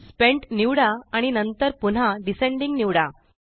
spent निवडा आणि नंतर पुन्हा डिसेंडिंग निवडा